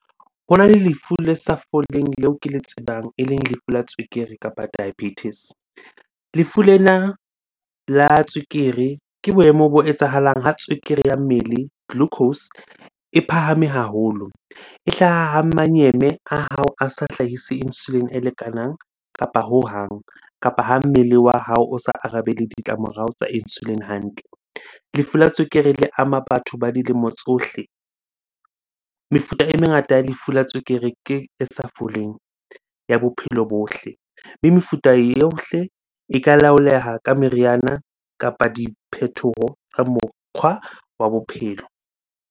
Hona le lefu le sa foleng leo ke le tsebang, eleng lefu la tswekere kapa diabetes. Lefu lena la tswekere ke boemo bo etsahalang ha tswekere ya mmele, glucose e phahame haholo. E hlaha ha manyeme a hao a sa hlahise insulin e lekanang kapa hohang. Kapa ha mmele wa hao o sa arabele ditlamorao tsa insulin hantle. Lefu la tswekere le ama batho ba dilemo tsohle. Mefuta e mengata ya lefu la tswekere ke e sa foleng ya bophelo bohle. Mme mefuta yohle e ka laoleha ka meriana kapa diphethoho tsa mokgwa wa bophelo.